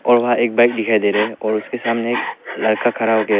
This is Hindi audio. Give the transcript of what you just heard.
और वहां एक बैग दिखाई दे रहा है और उसके सामने एक लड़का खड़ा हो के है।